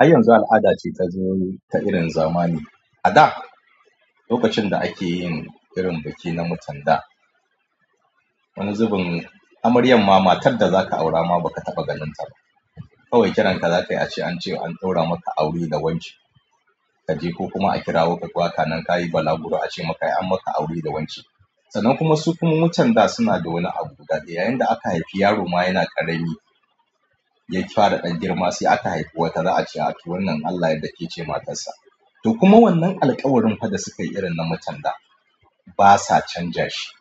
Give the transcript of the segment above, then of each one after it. A yanzu al'ada ce ta zo ta irin zamani. A da lokacin da ake yin irin biki na mutan da wani zubin amaryan ma, matar da zaka aura ma ba ka taɓa ganin ta ba. Kawai kiranka za ka yi ace an ce an ɗaura maka aure da wance. Ka je ko kuma a kirawo ka, baka nan ka yi balaguro a ce maka an maka aure da wance. Sannan kuma su kuma mutan da suna da wani abu guda ɗaya. Yayin da aka haifi yaro ma yana ƙarami, ya fara ɗan girma sai aka haifi wata z'a ce a to wannan in Allah ya yarda ke ce matarsa. To kuma wannan alƙawarin fa da suka yi irin na mutan da ba sa canja shi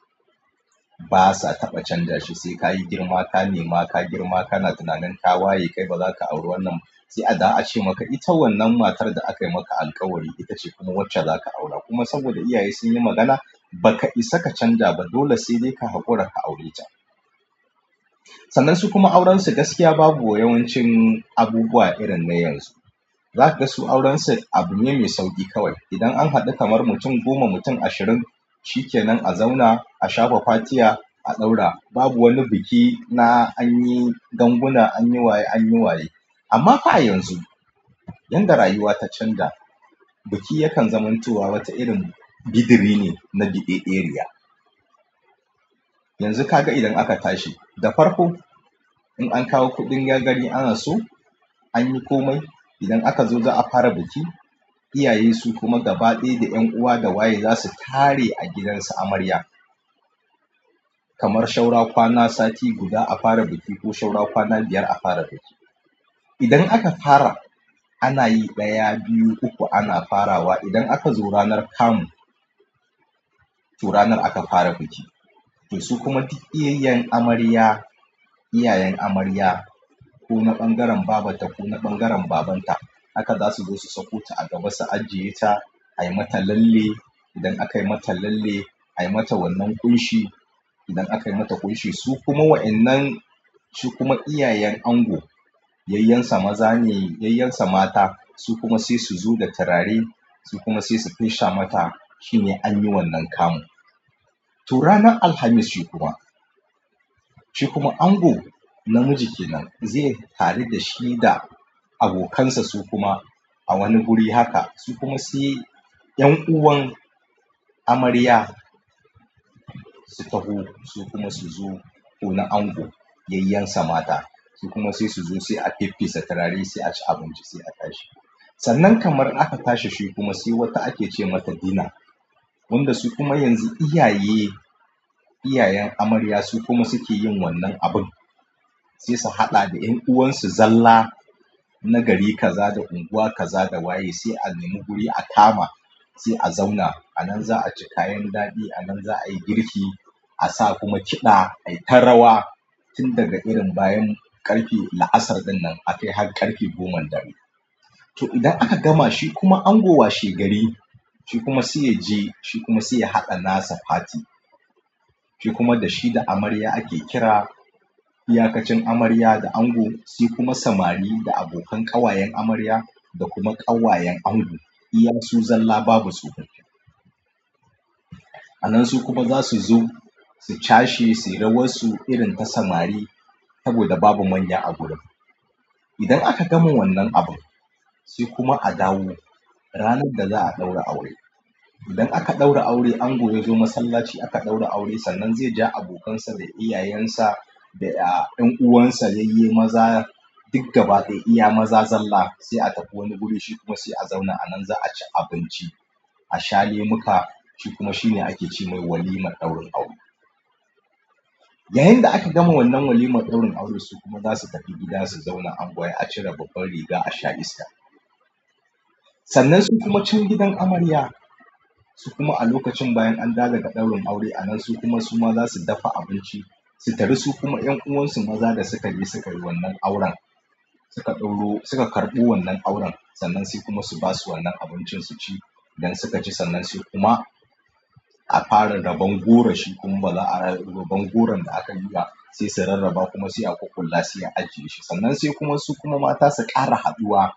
ba sa taɓa canja shi, sai ka yi girma, ka nema, ka girma, ka na tunanin ka waye kai, ba za ka auri wannan ba. Sai a da ace maka, "I, tawannan matar da aka yi maka alkawari ita ce kuma wacce za ka aura." Kuma saboda iyaye sun yi magana, ba ka isa ka canja ba dole sai dai ka haƙura ka aure ta. Sannan su kuma aurensu gaskiya babu yawancin abubuwa irin na yanzu. Za ka ga su aurensu abu ne me sauƙi kawai. Idan an haɗu kamar mutum goma, mutum ashirin cike nan a zauna, a shafa fatiha, a ɗaura. Babu wani biki na an yi ganguna, an yi waye, an yi waye. Amma fa a yanzu, yayin da rayuwa ta canja, biki yakan zamantowa wata irin bidiri ne na biɗeɗeriya. Yanzu ka ga idan aka tashi da farko, in an kawo kuɗin ya gani anaso, an yi komai. Idan aka zo za a fara biki, iyaye su kuma gaba ɗaya da 'yan uwa da waye za su tare a gidansu amarya. Kamar shaura kwana sati guda a fara biki ko saura kwana biyar a fara biki. Idan aka fara ana yi ɗaya, biyu, uku ana farawa. Idan aka zo ranar kamu, to ranar aka fara biki. To su kuma duk iyayen amarya, iyayen amarya, ku na ɓangaren babarta, ku na ɓangaren babanta haka za su zo su sakota a gaba, su ajiye ta, ai mata lalle. Idan aka yi mata lalle, ai mata wannan ƙunshi. Idan aka yi mata ƙunshi su kuma wa'innan, su kuma iyayen ango, yayyensa maza ne, yayyensa mata su kuma sai su zo da turare, su kuma sai su fesha mata. Shine anyi wannan kamu to ranar Alhamis shi kuma, shikuma ango namiji kenan, ze haɗu dashi da abokansa sukuma a wani guri haka, su kuma se 'yan uwan amarya su taho su kuma su zo ko na ango yayyensa mata su kuma sai su zo sai a feffesa turare, sai a ci abinci, sai a tashi. Sannan kamar aka tashi shi kuma sai wata ake ce mata dina. Wanda su kuma yanzu iyaye, iyayen amarya su kuma suke yin wannan abun. Sai su haɗa da 'yan uwansu zalla na gari ka za da unguwa ka za da waye. Sai a nemi guri a kama, sai a zauna. A nan za a ci kayan daɗi. A nan za a yi girki, a sa kuma kiɗa. Ai ta rawa tun daga irin bayan ƙarfe la'asar ɗinnan akai har ƙarfe goman dare. To idan aka gama shi kuma ango washe gari, shi kuma sai ya je shi kuma sai ya haɗa nasa fati. Shi kuma da shi da amarya ake kira iyakacin amarya da ango. Su kuma samari da abokan ƙawayen amarya da kuma ƙawayen ango. Iya su zalla babu tsofaffi. A nan su kuma za su zo su cashe, su yi rawarsu irin ta samari saboda babu manya a gurin. Idan aka gama wannan abun sai kuma a dawo ranar da za'a ɗaura aure. Idan aka ɗaura aure ango yazo masallaci aka ɗaura aure sannan zai ja abokansa da iyayensa da 'yan uwansa yayye maza duk gaba ɗaya iya maza zalla sai a tafi wani guri shi kuma sai a zauna. A nan za a ci abinci, a sha lemuka shi kuma shine ake ce mai walimar ɗaurin aure. Yayinda aka gama wannan walimar ɗaurin aure, su kuma zasu tafi gida su zauna angwaye, a cire babban riga a sha iska. Sannan su kuma can gidan amarya su kuma a lokacin bayan an dawo daga ɗaurin aure a nan su kuma su ma za su dafa abinci su taru su kuma 'yan uwansu maza da suka yi, suka yi wannan auren suka ɗauro, suka karɓi wannan auren sannan su kuma su ba su wannan abincin su ci idan suka ci sannan se kuma a fara raban goro shi kuma baban goron da aka yi ga sai su rarraba kuma sai a ƙulla sai a ajiye shi. Sannan sai kuma su kuma mata su ƙara haɗuwa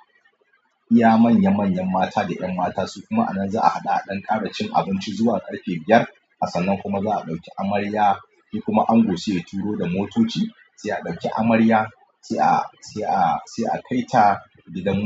iya manya manyan mata da 'yan mata su kuma a nan za a haɗu a ɗan ƙara cin abinci zuwa ƙarfe biyar. Sannan kuma za'a ɗauki amarya, shi kuma ango sai ya turo da motoci sai a ɗauki amarya sai a, sai a, sai a kai ta gidan miji.